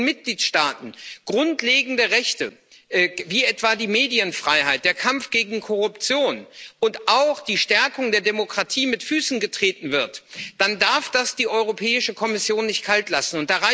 Wenn in Mitgliedstaaten grundlegende Rechte, wie etwa die Medienfreiheit, der Kampf gegen Korruption und auch die Stärkung der Demokratie mit Füßen getreten werden, dann darf das die Europäische Kommission nicht kalt lassen.